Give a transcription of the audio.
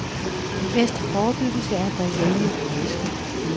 Den bedste forebyggelse er at drikke rigeligt med vædske.